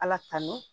Ala tanu